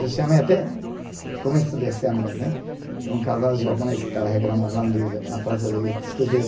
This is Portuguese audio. Já chamei até, começo desse ano mesmo hein, um casal de japonês que estava reclamando lá no na Praça